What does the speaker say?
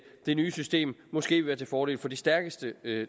nye system måske vil være til fordel for de stærkeste